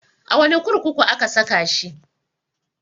A wane kurkuku aka saka shi?